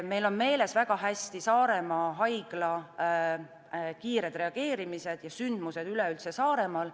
Väga hästi on meeles Saaremaa haigla kiired reageerimised ja üldse sündmused Saaremaal.